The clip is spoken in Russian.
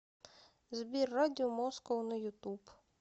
сбер радио москоу на ютуб